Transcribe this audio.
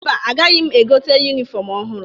Mba, agaghị m egote yunifọmụ ọhụrụ.